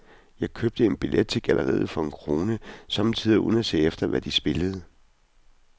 Jeg købte en billet til galleriet for en krone, somme tider uden at se efter, hvad de spillede.